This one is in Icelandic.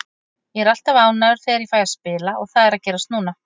Ég er alltaf ánægður þegar ég fæ að spila og það er að gerast núna.